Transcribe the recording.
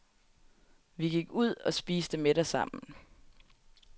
Vi gik ud og spiste middag sammen.